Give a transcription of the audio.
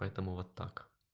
поэтому вот так